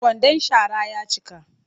Kwandan shara ya cika